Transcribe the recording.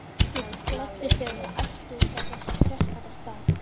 Ég gladdist yfir að vera ættuð frá þessum sérstaka stað.